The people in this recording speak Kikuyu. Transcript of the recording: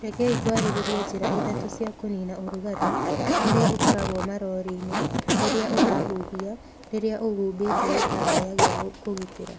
Rekei twarĩrĩrie njĩra ithatũ cia kũniina ũrugarĩ ũrĩa ũkoragwo marori-inĩ rĩrĩa ũrahuhia rĩrĩa ũhumbĩte gĩtambaya gĩa kũgitĩra.